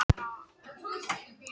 Herlaugur, hvað er í dagatalinu í dag?